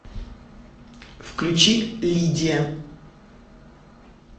включи лидия